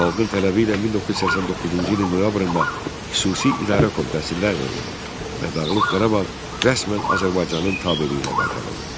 Xalqın tələbi ilə 1989-cu ilin noyabrında Xüsusi İdarə Komitəsi ləğv olundu və Dağlıq Qarabağ rəsmən Azərbaycanın tabeliyinə qaytarıldı.